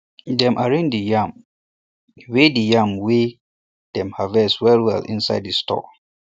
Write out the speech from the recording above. dem arrange di yam wey di yam wey dem harvest well well inside di store